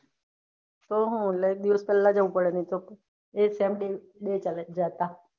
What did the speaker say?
તો હું એક દિવસ પેહલા જવું પડે નાઈ તો